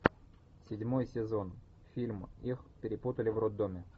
седьмой сезон фильм их перепутали в роддоме